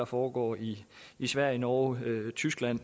foregår i sverige norge og tyskland